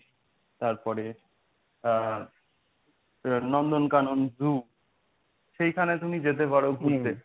তারপরে আ নন্দনকানন সেইখানে তুমি যেতে পারো ঘুরতে।